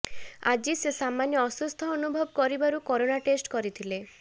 ଆଜି ସେ ସାମାନ୍ୟ ଅସୁସ୍ଥ ଅନୁଭବ କରିବାରୁ କରୋନା ଟେଷ୍ଟ କରିଥିଲେ